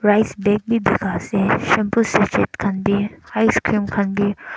rice bag khan bi bikai ase shampoo side side khan bi icecream khan bi.